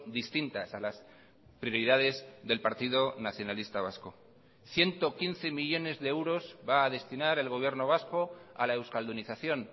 distintas a las prioridades del partido nacionalista vasco ciento quince millónes de euros va a destinar el gobierno vasco a la euskaldunización